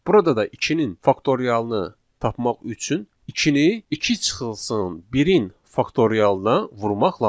Burada da 2-nin faktorialını tapmaq üçün 2-ni 2 çıxılsın 1-in faktorialına vurmaq lazımdır.